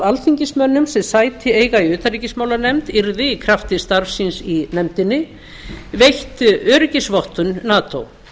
alþingismönnum sem sæti eiga í utanríkismálanefnd yrði í krafti starfs síns í nefndinni veitt öryggisvottun nato